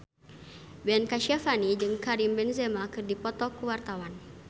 Ben Kasyafani jeung Karim Benzema keur dipoto ku wartawan